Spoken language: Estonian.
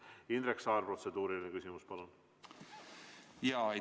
Indrek Saar, protseduuriline küsimus, palun!